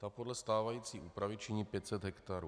Ta podle stávající úpravy činí 500 hektarů.